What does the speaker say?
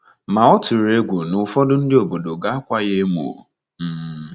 Ma ọ tụrụ egwu na ụfọdụ ndị obodo ga-akwa ya emo. um